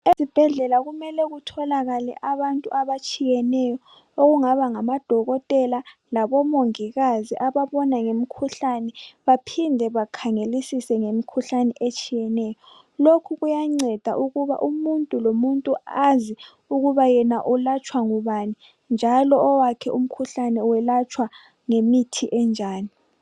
Ezibhedlela kumele kutholakala abantu abatshiyeneyo okungaba ngamadokotela labomongikazi ababona ngemikhuhlane baphinde. bakhangelisise bakhangelisise ngemikhuhlane eminengi etshiyeneyo. Lokhu kuyanceda ukuba umuntu lomuntu azi ukuba yena ulwatshwa ngubani njalo owakhe umkhuhlane welatshwa ngemithi enjani.